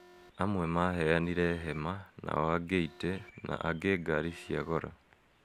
Amwe maaheanire hema, nao angi etĩ na angĩ ngaari cia goro.